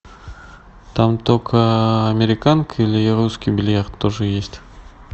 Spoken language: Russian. там только американка или русский бильярд тоже есть